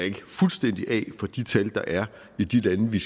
fuldstændig af fra de tal der er i de lande vi